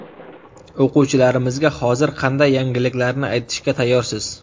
O‘quvchilarimizga hozir qanday yangiliklarni aytishga tayyorsiz?